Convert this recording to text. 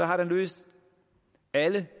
har løst alle